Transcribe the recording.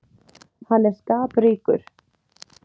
Hann er skapríkur.